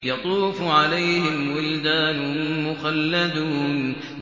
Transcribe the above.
يَطُوفُ عَلَيْهِمْ وِلْدَانٌ مُّخَلَّدُونَ